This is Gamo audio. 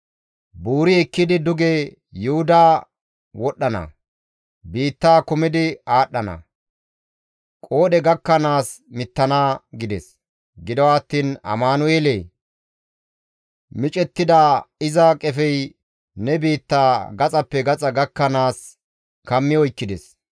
Buuri ekkidi duge Yuhuda wodhdhana; biittaa kumidi aadhdhana; qoodhe gakkanaas mittana» gides. Gido attiin Amanu7eelee! Micettida iza qefey ne biittaa gaxappe gaxa gakkanaas kammi oykkides.